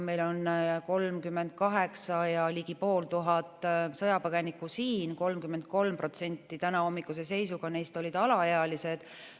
Meil on siin ligi 38 500 sõjapõgenikku, 33% neist on alaealised, tänahommikuse seisuga.